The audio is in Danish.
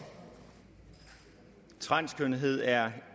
transkønnethed er